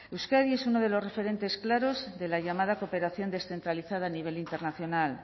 euskadi es uno de los referentes claros de la llamada cooperación descentralizada a nivel internacional